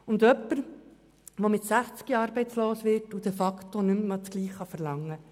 Bei jemandem, der mit sechzig arbeitslos wird, verlangt man de facto nicht mehr dasselbe.